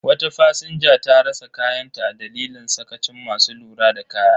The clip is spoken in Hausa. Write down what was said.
Wata fasinja ta rasa kayanta a dalilin sakacin masu lura da kaya.